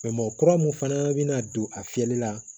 mɔgɔ kura mun fana bɛna don a fiyɛli la